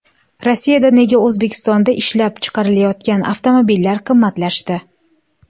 Rossiyada nega O‘zbekistonda ishlab chiqarilayotgan avtomobillar qimmatlashdi?.